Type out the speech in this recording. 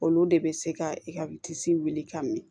Olu de bɛ se ka i ka i tisi wuli ka min